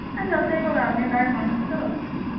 আর যতই হোক আগেকার মানুষ তো